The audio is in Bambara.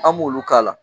An m'olu k'a la